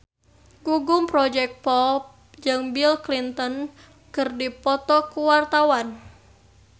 Gugum Project Pop jeung Bill Clinton keur dipoto ku wartawan